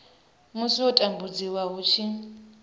musi u tambudziwa hu tshi